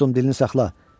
Dostum, dilini saxla.